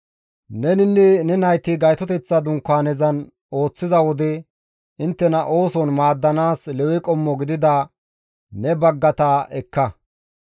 Neninne ne nayti Gaytoteththa Dunkaanezan ooththiza wode inttena ooson maaddanaas Lewe qommo gidida ne baggata ekka.